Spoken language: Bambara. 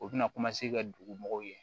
U bɛna ka dogo mɔgɔw ye